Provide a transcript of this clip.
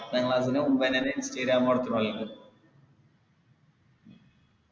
ചങ്ങായിൻ്റെ Instagram